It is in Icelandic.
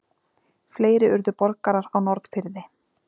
Fleiri urðu borgarar á Norðfirði.